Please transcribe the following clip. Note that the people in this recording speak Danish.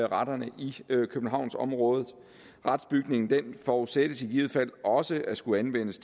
retterne i københavnsområdet retsbygningen forudsættes i givet fald også at skulle anvendes